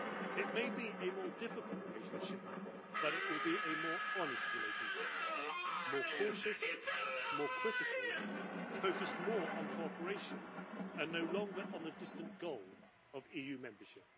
It may be a more difficult relationship, but it will be a more honest relationship more cautious, more critical, focused more on cooperation and no longer on the distant goal of EU membership.